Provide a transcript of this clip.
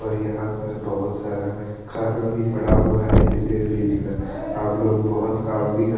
और यहाँ पर बोहोत सारा खाना भी पड़ा हुआ है जिसे बेच कर हम लोग बोहोत ही काम भी कर --